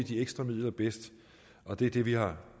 de ekstra midler bedst og det er det vi har